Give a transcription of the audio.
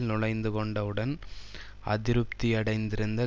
நுளைந்துகொண்ட உடன் அதிருப்தியடைந்திருந்த